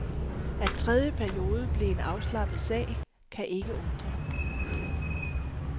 At tredje periode blev en afslappet sag, kan ikke undre.